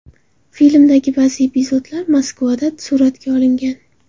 Filmdagi ba’zi epizodlar Moskvada suratga olingan.